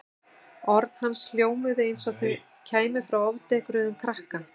Orð hans hljómuðu eins og þau kæmu frá ofdekruðum krakka.